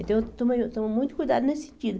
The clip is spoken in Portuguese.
Então, eu tomo eu tomo muito cuidado nesse sentido.